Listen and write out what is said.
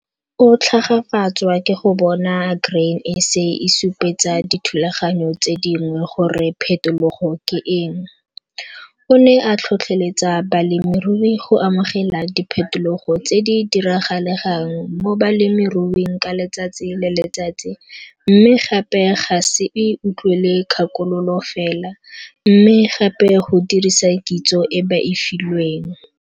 O tlhagafatswa ke go bona Grain SA e supetsa dithulaganyo tse dingwe gore phetologo ke eng. O ne a tlhotlheletsa balemirui go amogela diphetologo tse di diragalegang mo bolemiruing ka letsatsi le letsatsi mme gape ga se utlwele kgakololo fela, mme gape go dirisa kitso e ba e filweng.